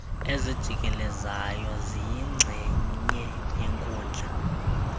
ezijikelezayo ziyingxenye yenkundla